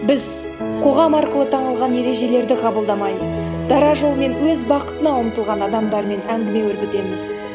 біз қоғам арқылы танылған ережелерді қабылдамай дара жолмен өз бақытына ұмтылған адамдармен әңгіме өрбітеміз